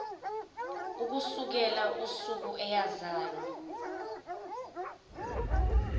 ukusukela usuku eyazalwa